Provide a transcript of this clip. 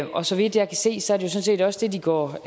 og så vidt jeg kan se sådan set også det de går